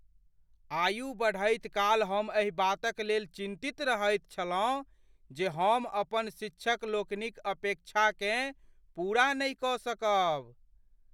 आयु बढ़ैत काल हम एहि बातक लेल चिन्तित रहैत छलहुँ जे हम अपन शिक्षक लोकनिक अपेक्षाकेँ पूरा नहि कऽ सकब।